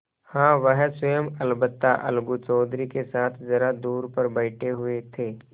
हाँ वह स्वयं अलबत्ता अलगू चौधरी के साथ जरा दूर पर बैठे हुए थे